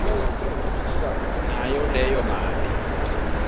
nayo leyo mali